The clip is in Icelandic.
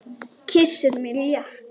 Kyssir mig létt.